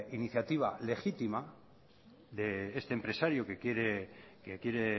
iniciativa legítima de este empresario que quiere